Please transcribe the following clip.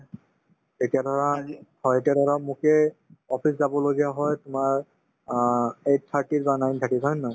এতিয়া ধৰা হয় এতিয়া ধৰা মোকে office যাব লগীয়া হয় তোমাৰ অ eight thirty ৰ পৰা nine thirty হয় নে নহয়